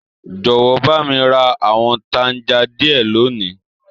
Jọwọ, ba mi ra àwọn tanja diẹ loni.